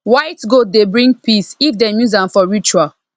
white goat dey bring peae if dem use am for ritual